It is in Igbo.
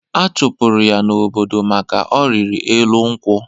Achụpụrụ ya n'obodo maka ọrịrị elu nkwụ.